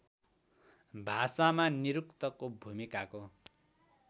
भाषामा निरुक्तको भूमिकाको